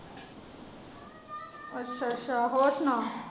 ਅੱਛਾ ਅੱਛਾ ਹੋਰ ਸੁਣਾ।